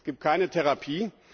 Es gibt keine Therapie.